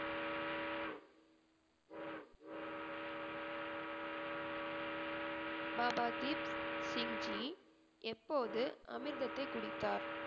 பாபா தீப் சிங் ஜி எப்போது அமிர்தத்தை குடித்தார்?